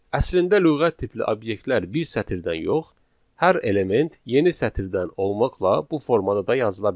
Əslində lüğət tipli obyektlər bir sətirdən yox, hər element yeni sətirdən olmaqla bu formada da yazıla bilər.